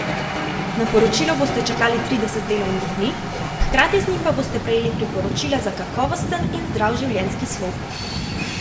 Na poročilo boste čakali trideset delovnih dni, hkrati z njim pa boste prejeli priporočila za kakovosten in zdrav življenjski slog.